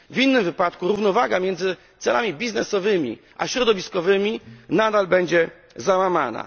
W innym wypadku równowaga pomiędzy celami biznesowymi a środowiskowymi nadal będzie załamana.